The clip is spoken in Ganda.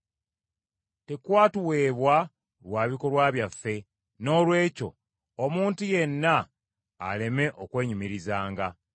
Tekwatuweebwa lwa bikolwa byaffe; noolwekyo omuntu yenna aleme okwenyumirizanga.